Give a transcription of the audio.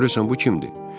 Görəsən bu kimdir?